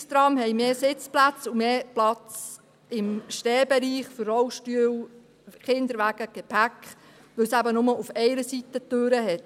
Einrichtungstrams bieten mehr Sitzplätze und im Stehbereich mehr Platz für Rollstühle, Kinderwagen und Gepäck, weil sie nur auf einer Seite Türen haben.